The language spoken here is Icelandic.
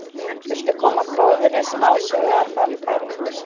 Viltu koma góðri smásögu á framfæri?